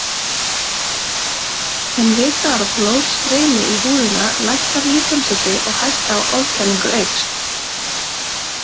En við það að blóð streymi í húðina lækkar líkamshiti og hætta á ofkælingu eykst.